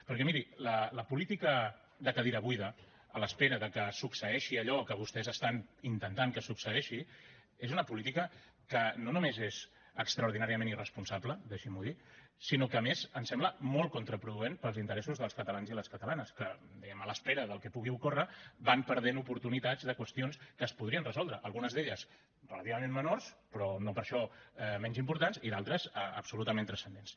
perquè miri la política de cadira buida a l’espera que succeeixi allò que vostès estan intentant que succeeixi és una política que no només és extraordinàriament irresponsable deixin m’ho dir sinó que a més ens sembla molt contraproduent per als interessos dels catalans i les catalanes que diguem ne a l’espera del que pugui ocórrer van perdent oportunitats sobre qüestions que es podrien resoldre algunes d’elles relativament menors però no per això menys importants i d’altres absolutament transcendents